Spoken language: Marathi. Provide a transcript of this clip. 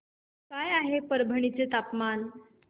काय आहे परभणी चे तापमान